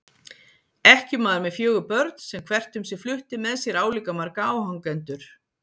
Ekkjumaður með fjögur börn sem hvert um sig flutti með sér álíka marga áhangendur.